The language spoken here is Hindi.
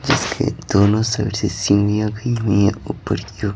जिसके दोनों साइड से सीढ़िया भी हुई है ऊपर की ओर--